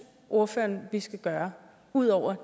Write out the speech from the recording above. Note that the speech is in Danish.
ordføreren vi skal gøre ud over at